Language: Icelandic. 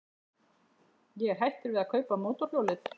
Ég er hættur við að kaupa mótorhjólið.